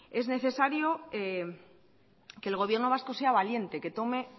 es necesario que el gobierno vasco sea valiente que tome